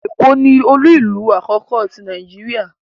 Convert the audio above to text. Eko ni olu-ilu akoko ti Nàìjíríà